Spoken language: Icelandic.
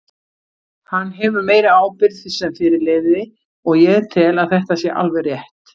Hann hefur meiri ábyrgð sem fyrirliði og ég tel að þetta sé alveg rétt.